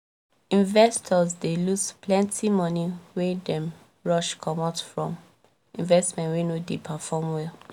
investors dey loose plenti moni wen dem rush comot from investment wey no dey perform well